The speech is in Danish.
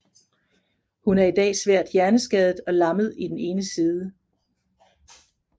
Hun er i dag svært hjerneskadet og lammet i den ene side